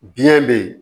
Biɲɛ be yen